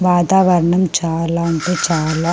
వాతావరణం చాలా అంటే చాలా --